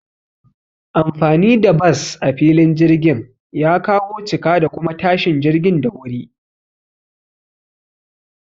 Anfani da bas a filin jirgin ya kawo cika da kuma tashin jirgin da wuri